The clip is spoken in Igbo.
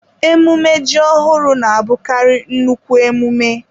Emume ji ọhụrụ na-abụkarị nnukwu emume.